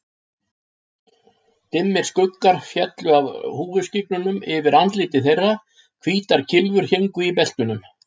Dimmir skuggar féllu af húfuskyggnunum yfir andlit þeirra, hvítar kylfur héngu í beltunum.